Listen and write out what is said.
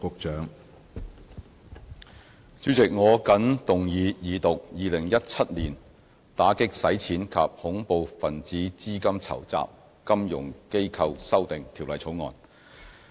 主席，我謹動議二讀《2017年打擊洗錢及恐怖分子資金籌集條例草案》。